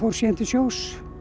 síðan til sjós